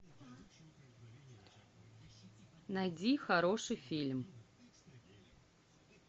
найди хороший фильм